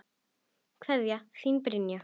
Kveðja, þín Brynja.